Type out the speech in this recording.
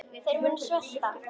Þeir munu svelta.